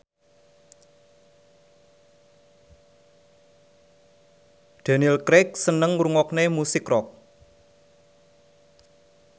Daniel Craig seneng ngrungokne musik rock